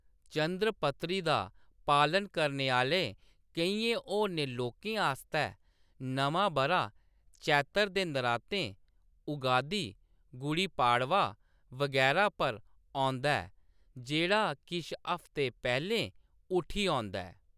चंद्र पत्तरी दा पालन करने आह्‌‌‌ले केइयें होरने लोकें आस्तै, नमां बʼरा चेत्तर दे नरातें, उगादि, गुड़ी पाड़वा बगैरा पर औंदा ऐ, जेह्‌‌ड़ा किश हफ्ते पैह्‌‌‌लें उठी औंदा ऐ।